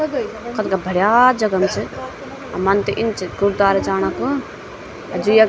कथगइ कथगा भड़या जगम च अर मन त इन च गुरद्वारा जाणा कू जु यख --